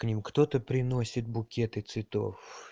к ним кто-то приносит букеты цветов